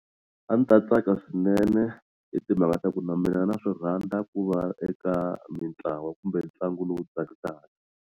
A ni ta tsaka swinene hi timhaka ta ku na mina na swi rhandza ku va eka mitlawa kumbe ntlangu lowu tsakisaka.